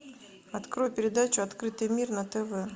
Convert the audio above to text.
открой передачу открытый мир на тв